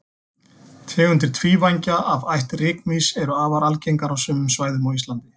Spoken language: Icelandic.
Tegundir tvívængja af ætt rykmýs eru afar algengar á sumum svæðum á Íslandi.